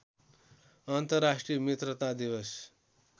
अन्तर्राष्ट्रिय मित्रता दिवश